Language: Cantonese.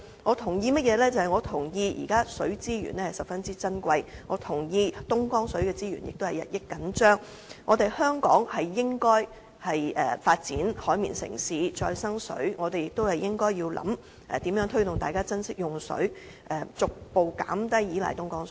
我同意現時水資源十分珍貴，我同意東江水資源也日益緊張，香港應該發展"海綿城市"和再生水，我們亦應思考如何推動大家珍惜用水，逐步減低依賴東江水。